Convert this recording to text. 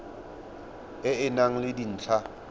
e e nang le dintlha